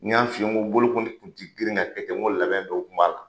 N y'an f'i ye ko bolokoli kun ti girin ka kɛ ten , n ko labɛn dɔw kun b'a la.